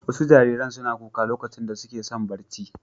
Wasu jariran suna kuka lokacin da suke son barci.